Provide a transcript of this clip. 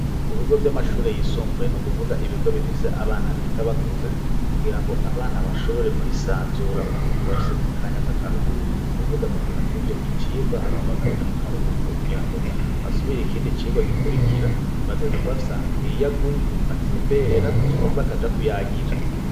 Ku bigo vy'amashure yisumbuye n'ukuvuga ibigo bifise abana biga bakuze kugirango abana bashobore kwisanzura mu gihe mu bafise mu kanya k'akaruhuko no kuvuga mu gihe bahejeje icigwa hama bakaja mu karuhuko kugirango basubire ikindi cigwa gikurikira bategerezwa kubafise ahantu hiyaguye batemberera canke bakaja kuyagira